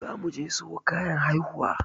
Zamu je siyo kayan haihuwa.